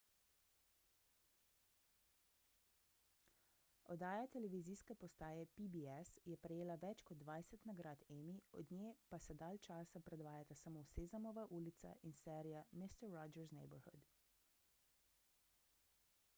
oddaja televizijske postaje pbs je prejela več kot dvajset nagrad emmy od nje pa se dalj časa predvajata samo sezamova ulica in serija mister rogers' neighborhood